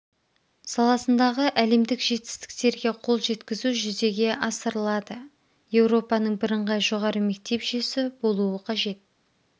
саласындағы әлемдік жетістіктерге қол жеткізу жүзеге асырылылады еуропаның бірыңғай жоғары мектеп жүйесі болуы қажет